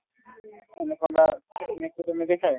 anaconda snake তো কেনেকে চাই